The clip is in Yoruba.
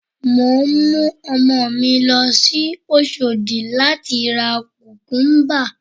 Mò ń mú ọmọ mi lọ sí Oṣòdì láti ra Kùkúbà